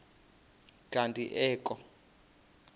kanti ee kho